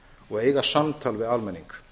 og eiga samtal við almenning